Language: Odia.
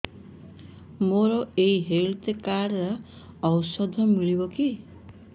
ମୋର ଏଇ ହେଲ୍ଥ କାର୍ଡ ରେ ଔଷଧ ମିଳିବ କି